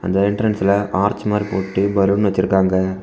அந்த என்ட்ரன்ஸ்ல ஆர்ச் மாதிரி போட்டு பலூன் வச்சிருக்காங்க.